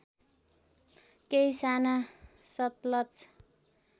केही साना सतलज